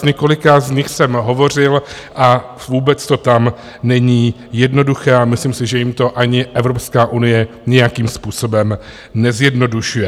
S několika z nich jsem hovořil a vůbec to tam není jednoduché a myslím si, že jim to ani Evropská unie nějakým způsobem nezjednodušuje.